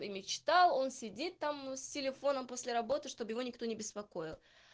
и мечтал он сидит там с телефоном после работы чтобы его никто не беспокоил